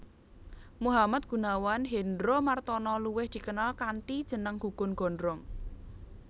Muhammad Gunawan Hendromartono luwih dikenal kanthi jeneng Gugun Gondrong